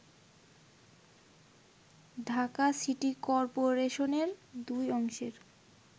Dhaka city করপোরেশনের দুই অংশের